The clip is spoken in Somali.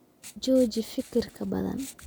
Jooji fikirka badan